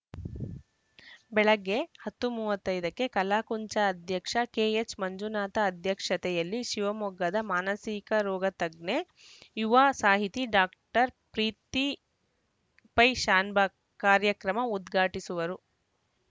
ಬೆಳಗ್ಗೆ ಹತ್ತು ಮೂವತ್ತ್ ಐದಕ್ಕೆ ಕಲಾಕುಂಚ ಅಧ್ಯಕ್ಷ ಕೆಎಚ್‌ಮಂಜುನಾಥ ಅಧ್ಯಕ್ಷತೆಯಲ್ಲಿ ಶಿವಮೊಗ್ಗದ ಮಾನಸಿಕ ರೋಗ ತಜ್ಞೆ ಯುವ ಸಾಹಿತಿ ಡಾಕ್ಟರ್ ಪ್ರೀತಿ ಪೈಶಾನಭಾಗ್‌ ಕಾರ್ಯಕ್ರಮ ಉದ್ಘಾಟಿಸುವರು